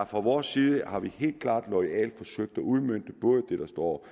fra vores side har vi helt klart loyalt forsøgt at udmønte både det der står